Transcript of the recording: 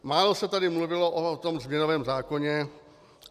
Málo se tady mluvilo o tom změnovém zákoně.